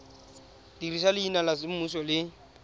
dirisa leina la semmuso le